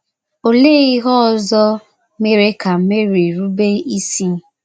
Olee ihe ọzọ mere ka Meri rube isi?